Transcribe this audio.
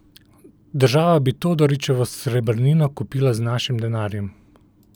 Država bi Todorićevo srebrnino kupila z našim denarjem.